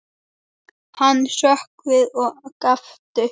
Hann hrökk við og gapti.